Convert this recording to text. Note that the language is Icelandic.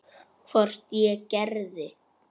Hvort ég gerði.